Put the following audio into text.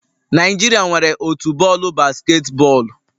Naijiria nwere otu bọọlụ basketball